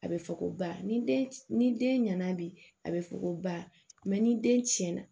A bɛ fɔ ko ba ni den ni den ɲana bi a bɛ fɔ ko ba ni den tiɲɛna